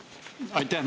Aitäh!